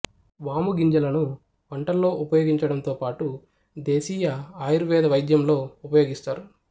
వాము గింజలను వంటల్లో ఉపయోగించడంతో పాటు దేశీయ ఆయుర్వేద వైద్యంలో ఉపయోగిస్తారు